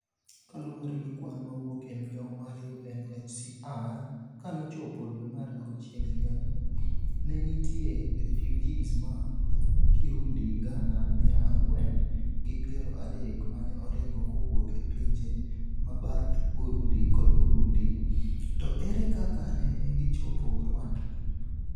kaluwore gi kwan mowuok e migao mar UNHCR, kanochopo dwe mar auchiel higani, ne nitie refiujis ma Kirundi gana mia ang'wen gi piero adek mane oringo kowuok e pinje mabath Burundi kod Burundi, to ere kaka nene gichopo Rwanda?